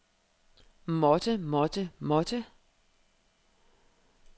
måtte måtte måtte